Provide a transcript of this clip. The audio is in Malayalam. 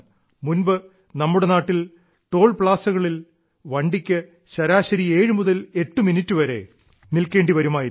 മുൻപ് നമ്മുടെ നാട്ടിൽ ടോൾ പ്ലാസകളിൽ വണ്ടിക്ക് ശരാശരി ഏഴു മുതൽ എട്ട് മിനിറ്റ് വരെ നിൽക്കേണ്ടി വരുമായിരുന്നു